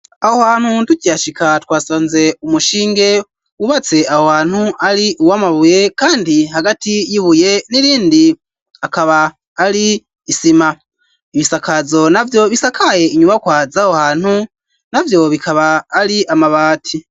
Aho hantu tukihashika twasanze umushinge wubatse aho hantu ari uw'amabuye kandi hagati y'ibuye n'irindi akaba ari isima ibisakazo na vyo bisakaye inyuma kwaz aho hantu navyo bikaba ari amabati.